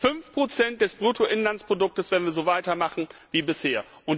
5 Prozent des Bruttoinlandsprodukts, wenn wir so weitermachen wie bisher!